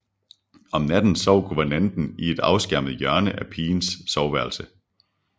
Om natten sov guvernanten i et afskærmet hjørne af pigernes soveværelse